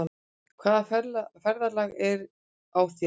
Hvaða ferðalag er á þér?